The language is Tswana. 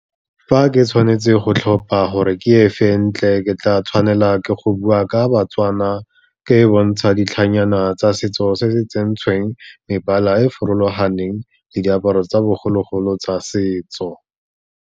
Fa ke tshwanetse go tlhopha gore ke e fe e ntle, ke tla tshwanela ke go bua ka baTswana, ke e bontsha ditlhanyana tsa setso se se tsentsweng mebala e e farologaneng le diaparo tsa bogologolo tsa setso.